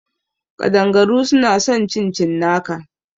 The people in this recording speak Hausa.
Ƙadangaru suna son cin cinnaka